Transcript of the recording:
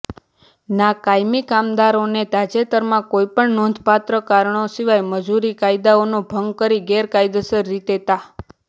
ના કાયમી કામદારોને તાજેતરમાં કોઈપણ નોંધપાત્ર કારણો સીવાય મજૂર કાયદાઓનો ભંગ કરી ગેરકાયદેસર રીતે તા